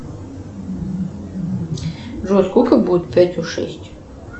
джой сколько будет пятью шесть